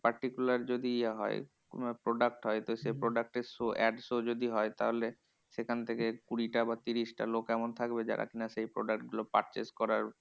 Particular যদি ইয়ে হয় কোনো product হয়। তো সে product এর show ad show যদি হয় তাহলে সেখান থেকে কুড়িটা বা তিরিশটা লোক তেমন থাকবে যারা কিনা সেই product গুলো purchase করার